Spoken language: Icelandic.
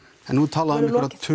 en nú er talað um